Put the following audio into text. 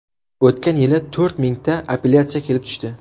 O‘tgan yili to‘rt mingta appelyatsiya kelib tushdi.